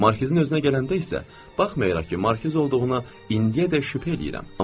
Markizin özünə gələndə isə baxmayaraq ki, Markiz olduğuna indiyədək şübhə eləyirəm.